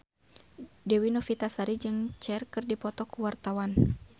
Dewi Novitasari jeung Cher keur dipoto ku wartawan